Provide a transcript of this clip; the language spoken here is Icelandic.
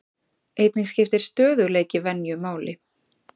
Einnig skiptir stöðugleiki venju máli.